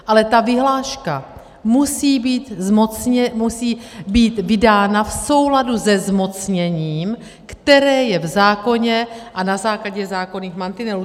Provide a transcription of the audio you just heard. Ale ta vyhláška musí být vydána v souladu se zmocněním, které je v zákoně, a na základě zákonných mantinelů.